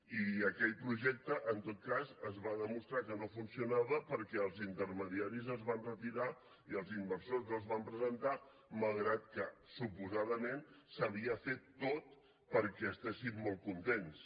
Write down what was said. i aquell projecte en tot cas es va demostrar que no funcionava perquè els intermediaris se’n van retirar i els inversors no s’hi van presentar malgrat que suposadament s’havia fet tot perquè estiguessin molt contents